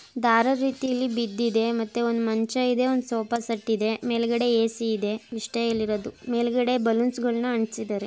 ದಾರದ ರೀತಿಯಲ್ಲಿ ಬಿದ್ದಿದೆ ಮತ್ತೆ ಒಂದ್ ಮಂಚ ಇದೆ ಒಂದ್ ಸೋಫಾ ಸೆಟ್ ಇದೆ. ಮೇಲ್ಗಡೆ ಎ.ಸಿ. ಇದೆ ಇಷ್ಟ ಇರೋದು ಮೇಲ್ಗಡೆ ಬಲೂನ್ ಗಳು ಅಂಟಿಸಿದ್ದಾರೆ.